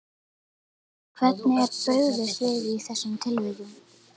Glúmur: Hvernig er brugðist við í þessum tilvikum?